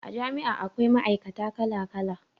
A jami'a akwai ma'aikata kala kala